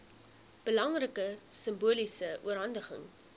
belangrike simboliese oorhandiging